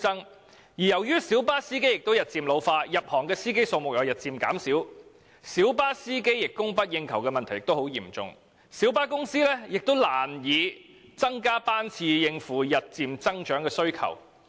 此外，由於小巴司機日漸老化，而新入行司機的數目也日漸減少，以致小巴司機供不應求的問題越趨嚴重，小巴公司根本難以增加班次以應付日漸增長的需求。